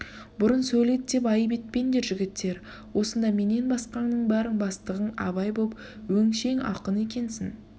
бұрын сөйледі деп айып етпендер жігіттер осында менен басқаңның бәрің бастығың абай боп өңшең ақын екенсің